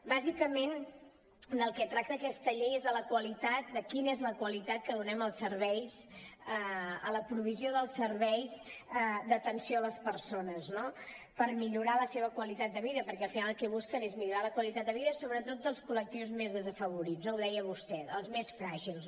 bàsicament del que tracta aquesta llei és de quina és la qualitat que donem a la provisió dels serveis d’atenció a les persones no per millorar la seva qualitat de vida perquè al final el que busquen és millorar la qualitat de vida sobretot dels col·lectius més desafavorits ho deia vostè els més fràgils